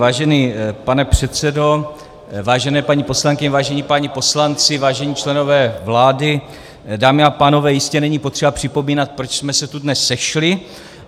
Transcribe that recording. Vážený pane předsedo, vážené paní poslankyně, vážení páni poslanci, vážení členové vlády, dámy a pánové, jistě není potřeba připomínat, proč jsme se tu dnes sešli.